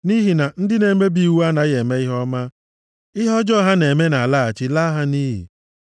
Nʼihi na ndị na-emebi iwu anaghị eme ihe ọma, ihe ọjọọ ha na-eme na-alaghachi laa ha nʼiyi.